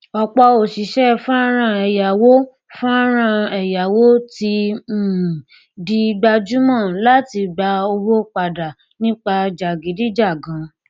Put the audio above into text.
ọpọ òṣìṣẹ fọnrán ẹyáwó fọnrán ẹyáwó ti um di gbajúmọ láti gba owó padà nípa jàgídíjàgan